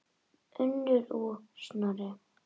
Unnur og Snorri.